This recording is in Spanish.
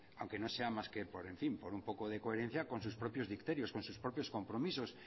aunque no sea más que por en fin por un poco coherencia con su propios dicterios con sus propios compromisos